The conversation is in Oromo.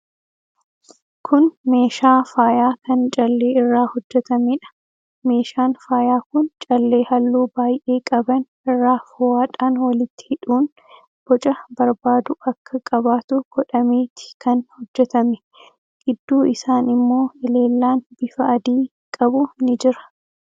Kun meeshaa faayaa kan callee irraa hojjetameedha. Meeshaan faayaa kun callee halluu baay'ee qaban irraa fo'aadhaan walitti hidhuun boca barbaadu akka qabaatu godhameeti kan hojjetame. Gidduu isaan immoo elellaan bifa adii qabu ni jira.